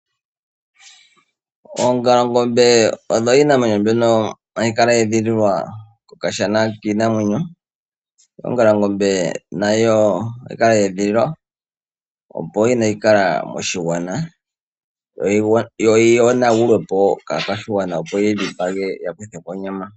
Oongalangombe oyo iinamwenyo mbyono hayi kala ye edhililwa kokashana kiinamwenyo. Ongalangombe nayo ohayi kala ye edhililwa, opo kaayi kale moshigwana, yo yi yonagulwe po kaakwashigwana, opo yeyi dhipage ya kuthe ko onyama.